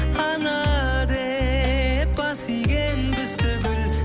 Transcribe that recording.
ана деп бас иген біз түгіл